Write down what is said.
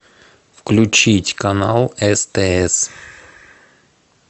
включить канал стс